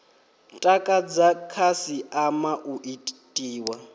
takadza khasi ama u itiwa